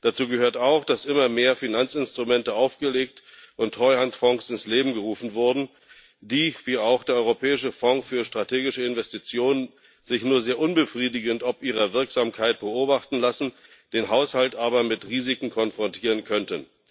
Dazu gehört auch, dass immer mehr Finanzinstrumente aufgelegt und Treuhandfonds ins Leben gerufen wurden, die sich wie auch der Europäische Fonds für strategische Investitionen nur sehr unbefriedigend ob ihrer Wirksamkeit beobachten lassen, den Haushalt aber mit Risiken konfrontieren könnten.